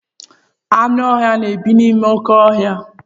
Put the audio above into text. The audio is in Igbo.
Anụ ọhịa na-ebi n'ime oké ọhịa.